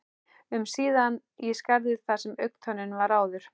um síðan í skarðið þar sem augntönnin var áður.